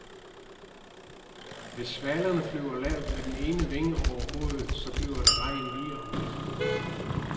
Hvis svalerne flyver lavt med den ene vinge over hovedet, så bliver det regn lige om lidt.